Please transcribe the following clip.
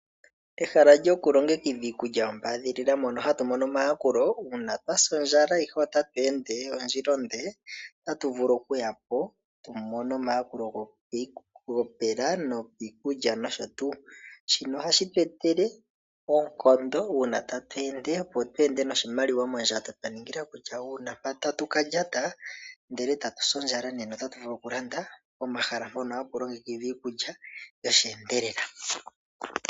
Ehala lyokulongekidha iikulya yombaadhilila mono hatu mono omayakulo uuna twa sa ondjala ihe ota tu ende ondjila onde, otatu vulu okuya po tu mone omayakulo gopela nopiikulya nosho tuu. Shino ohashi etele oonkondo uuna tatu ende opo tu ende noshimaliwa mondjato twa ningila kutya uuna mpa tatu ka lyata, ndele e tatu si ondjala ota tu vulu okulanda pomahala mpono hapu longekidhwa iikulya yosheendelela.